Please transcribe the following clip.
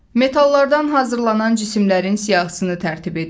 Metallardan hazırlanan cisimlərin siyahısını tərtib edin.